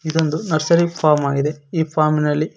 ಇದೊಂದು nursery farm ಆಗಿದೆ ಈ ಫಾರ್ಮ ಇನಲ್ಲಿ--